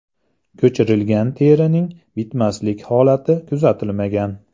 Ko‘chirilgan terining bitmaslik holati kuzatilmagan.